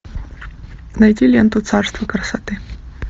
найти ленту царство красоты